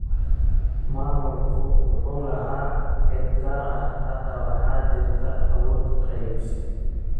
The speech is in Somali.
Maamulku wuxuu lahaa cid gaar ah. Hadda waxaa jirta awood qeybsi.